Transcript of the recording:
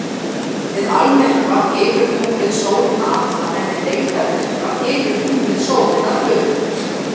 Við almyrkva hylur tunglið sólina alla en við deildarmyrkva hylur tunglið sólina að hluta til.